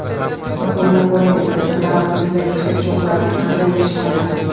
Bir o‘ylab ko‘raylik, ajdodlarimiz bunday yuksak cho‘qqilarga qanday erishganlar?